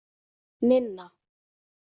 Ninna